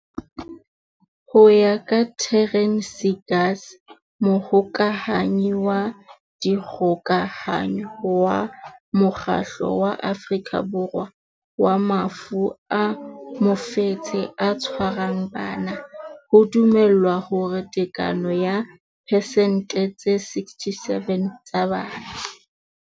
Ho ya ka Taryn Seegers, Mohokahanyi wa Dikgoka hanyo wa Mokgatlo wa Afrika Borwa wa Mafu a Mofetshe o Tshwarang Bana, ho dumelwa hore tekano ya diphesente tse 67 tsa bana.